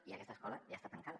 i aquesta escola ja està tancada